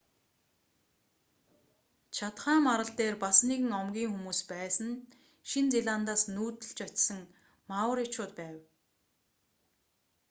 чатхам арал дээр бас нэгэн омгийн хүмүүс байсан нь шинэ зеландаас нүүдлэж очсон мауричууд байв